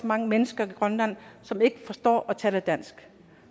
mange mennesker i grønland som ikke forstår og taler dansk